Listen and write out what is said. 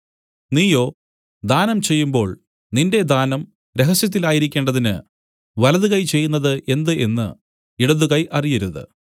നീയോ ദാനം ചെയ്യുമ്പോൾ നിന്റെ ദാനം രഹസ്യത്തിലായിരിക്കേണ്ടതിന് വലതു കൈ ചെയ്യുന്നതു എന്ത് എന്നു ഇടതുകൈ അറിയരുത്